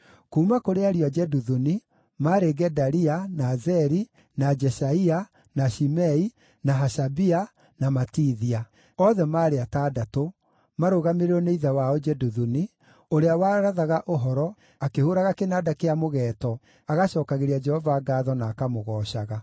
Kuuma kũrĩ ariũ a Jeduthuni: maarĩ Gedalia, na Zeri, na Jeshaia, na Shimei, na Hashabia, na Matithia; othe maarĩ atandatũ, marũgamĩrĩirwo nĩ ithe wao Jeduthuni, ũrĩa warathaga ũhoro, akĩhũũraga kĩnanda kĩa mũgeeto, agacookagĩria Jehova ngaatho na akamũgoocaga.